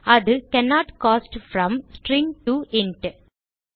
அது cannot cast from string to int